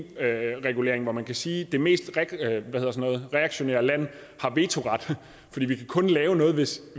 regulering hvor man kan sige at det mest reaktionære land har vetoret for vi kan kun lave noget hvis